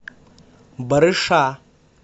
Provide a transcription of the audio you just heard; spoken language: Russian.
барыша